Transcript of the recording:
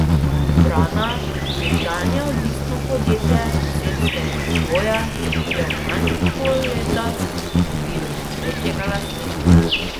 Vrana, nekdanje odvisno podjetje celjskega Nivoja, je v manj kot pol leta dobilo že tretjega lastnika.